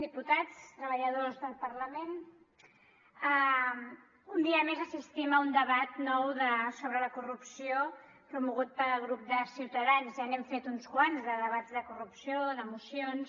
diputats treballadors del parlament un dia més assistim a un debat nou sobre la corrupció promogut pel grup de ciutadans ja n’hem fet uns quants de debats de corrupció de mocions